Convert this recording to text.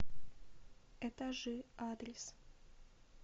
этажи адрес